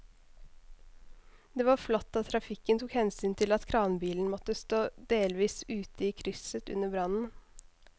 Det var flott at trafikken tok hensyn til at kranbilen måtte stå delvis ute i krysset under brannen.